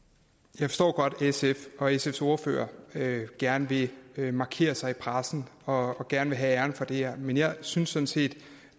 jeg forstår godt at sf og sfs ordfører gerne vil vil markere sig i pressen og gerne vil have æren for det her men jeg synes sådan set